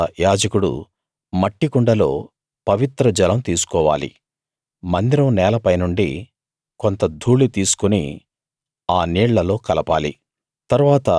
తరువాత యాజకుడు మట్టికుండలో పవిత్రజలం తీసుకోవాలి మందిరం నేలపైనుండి కొంత ధూళి తీసుకుని ఆ నీళ్ళలో కలపాలి